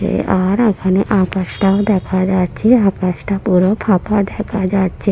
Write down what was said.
আর ওখানে আকাশটাও দেখা যাচ্ছে আকাশটা পুরো ফাঁকা দেখা যাচ্ছে ।